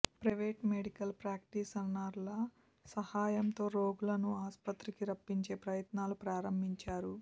private medical ప్రాక్టీషనర్ల సహాయంతో రోగులను ఆసుపత్రికి రప్పించే ప్రయత్నాలు ప్రారంభించారు